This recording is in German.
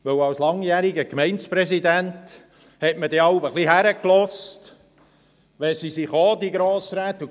Denn als langjähriger Gemeindepräsident hat man jeweils hingehört, wenn die Grossräte kamen und sagten: